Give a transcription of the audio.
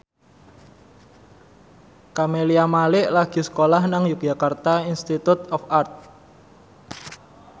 Camelia Malik lagi sekolah nang Yogyakarta Institute of Art